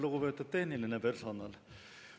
Lugupeetud tehniline personal!